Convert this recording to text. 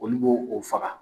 Olu bo o faga.